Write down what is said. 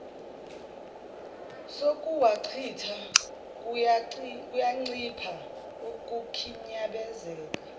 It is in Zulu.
sokuwachitha kuyancipha ukukhinyabenzeka